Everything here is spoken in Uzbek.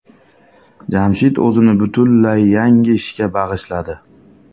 Jamshid o‘zini butunlay yangi ishga bag‘ishladi.